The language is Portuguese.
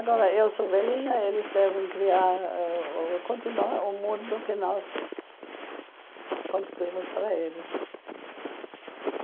Agora, eu sou velhinha, eles devem criar ãh continuar o mundo que nós construímos para eles.